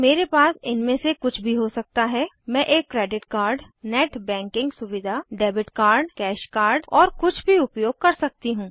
मेरे पास इनमे से कुछ भी हो सकता है मैं एक क्रेडिट कार्ड नेट बैंकिंग सुविधा डेबिट कार्ड कैश कार्ड और कुछ भी उपयोग कर सकती हूँ